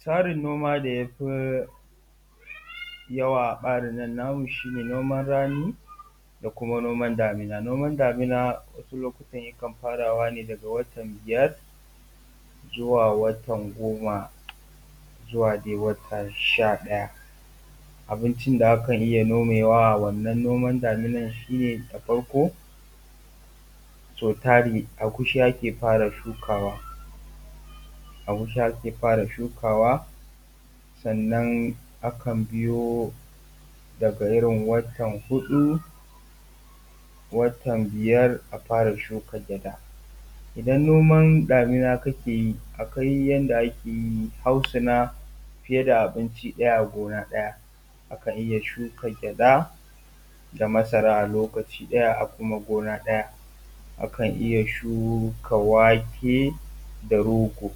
Tsarin noma da yafi yawa a ɓarin nan namu shi ne noman rani da kuma noman damina. Noman damina lokutan yakan farawa ne daga watan biyar, zuwa watan goma, zuwa dai watan sha ɗaya. Abincin da akan iya nomewa a wannan noman daminan shi ne da farko so tari agushi ake fara shukawa, agushi ake fara shukawa sannan akan biyo daga irin watan hudu, watan biyar a fara shuka gyaɗa, idan noman damina kake yi a kwai yanda ake yi hautsina fiye da abinci ɗaya a gona ɗaya. Akan iya shuka gyaɗa da masara a lokaci ɗaya a kuma gona ɗaya, akan iya shuka wake da rogo.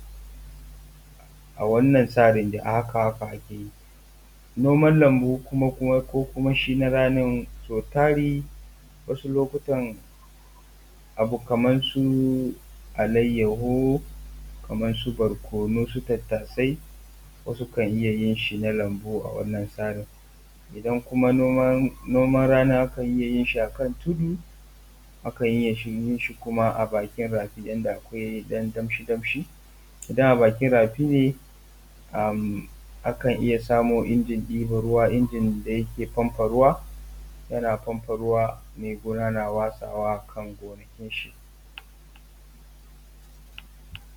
A wannan tsarin dai a haka haka dai ake yi. Noman lambu ko kuma shi na ranin sau tari wasu lokutan abu kaman su alaihu, kaman su barkonu, su tattasai wasu kan iya yin shi na lambu a wannan tsarin. Idan kuma noman rani a kan iya yin shi a kan tudu, akan iya yin shi kuma a bakin rafi yanda da akwai ɗan danshi danshi, idan a bakin rafi ne, akan iya samu injin ɗiban ruwa injin da yake famfa ruwa, yana famfa ruwa mai gona na watsawa a kan gonakin shi.